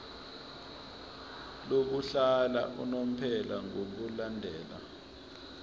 lokuhlala unomphela ngokulandela